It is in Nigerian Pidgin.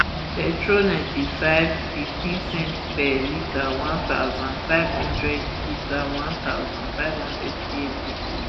petrol ninety-five ulp lrp fifteen cents per litre one thousand, five hundred litre one thousand, five hundred cl decrease